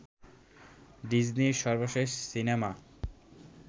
ডিজনির সর্বশেষ সিনেমা